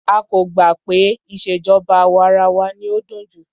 A kò gbà pé ìṣèjọba àwa arawa ni ó dùn jù.